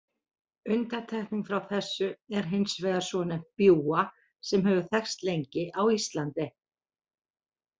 Undantekning frá þessu er hins vegar svonefnt bjúga sem hefur þekkst lengi á Íslandi.